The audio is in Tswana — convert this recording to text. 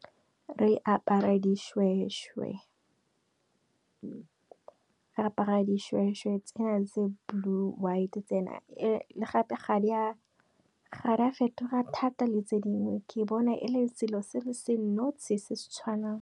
Re apara dishweshwe tse na tse blue, white tsena le gape ga di a fetoga thata le tse dingwe ke bona e le selo se le se tshwanang.